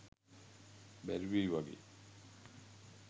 බැරිවෙයි වගේ.